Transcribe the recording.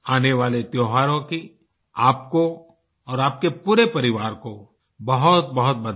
आने वाले त्योहारों की आपको और आपके पूरे परिवार को बहुतबहुत बधाई